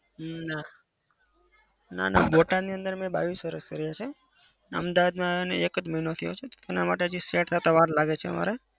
ના. ના ના. બોટાદની અંદર મેં બાવીસ વરસ કાઢ્યાં છે. ને અમદાવાદમાં આવીને એક મહિનો થયો છે. એના માટે હજી set થતા વાર લાગે છે અમારે.